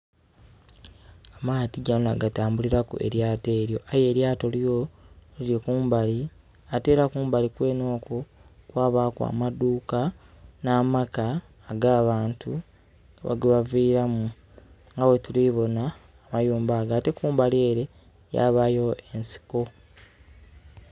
Amaadhi gano na gatambulilaku elyaato elyo. Aye elyaato lyo lili kumbali. Ate ela kumbali kwene okwo kwabaaku amaduuka n'amaka ag' abantu gebaviiramu nga bwetuli bona amayumba ago. Ate kumbali ele yabaayo ensiko.